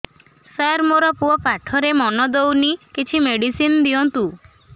ସାର ମୋର ପୁଅ ପାଠରେ ମନ ଦଉନି କିଛି ମେଡିସିନ ଦିଅନ୍ତୁ